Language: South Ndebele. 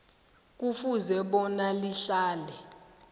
kufuze bona lihlale